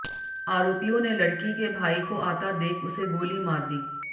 आरोपियों ने लडक़ी के भाई को आता देख उसे गोली मार दी